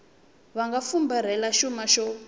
va nga fumbarhela xuma xo